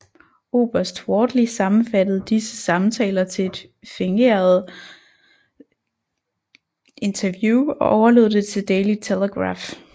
Oberst Wortley sammenfattede disse samtaler til et fingeret interview og overlod det til Daily Telegraph